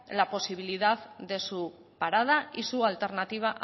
la posibilidad de su parada y su alternativa a